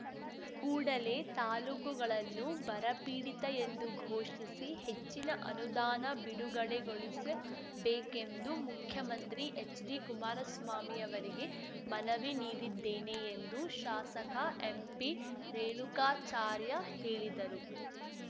ಕೂಡಲೇ ತಾಲೂಕುಗಳನ್ನು ಬರಪೀಡಿತ ಎಂದು ಘೋಷಿಸಿ ಹೆಚ್ಚಿನ ಅನುದಾನ ಬಿಡುಗಡೆಗೊಳಿಸಬೇಕೆಂದು ಮುಖ್ಯಮಂತ್ರಿ ಎಚ್‌ಡಿ ಕುಮಾರಸ್ವಾಮಿಯವರಿಗೆ ಮನವಿ ನೀಡಿದ್ದೇನೆ ಎಂದು ಶಾಸಕ ಎಂಪಿ ರೇಣುಕಾಚಾರ್ಯ ಹೇಳಿದರು